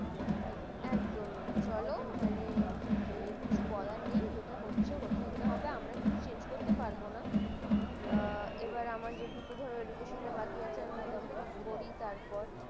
একদমই চলো মানে, সে কিছু বলার নেই যেটা হচ্ছে হতে দিতে হবে বা আমরা কিছু change করতে পারব না না এবার যেটুকু ধরে education টা বাকি আছে complete করি তারপর